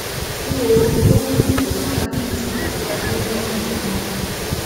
kí oorun tó mú ìtura dání sì lè wáyé lẹyìn náà